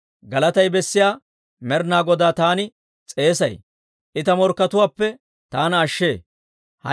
Galatay bessiyaa Med'inaa Godaa taani s'eesay; I ta morkkatuwaappe taana ashshee.